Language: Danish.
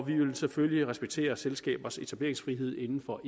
vi vil selvfølgelig respektere selskabers etableringsfrihed inden for